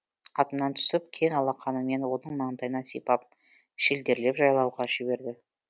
атынан түсіп кең алақанымен оның маңдайынан сипап шілдерлеп жайылуға жіберді